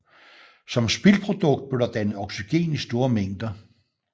Som spildprodukt blev der dannet oxygen i store mængder